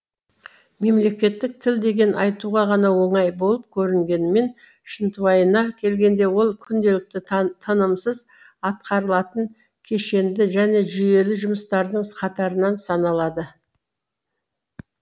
мемлекеттік тіл деген айтуға ғана оңай болып көрінгенімен шынтуайына келгенде ол күнделікті танымсыз атқарылатын кешенді және жүйелі жұмыстардың қатарынан саналады